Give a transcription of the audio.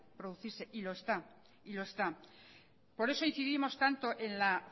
producirse y lo está y lo está por eso incidimos tanto en la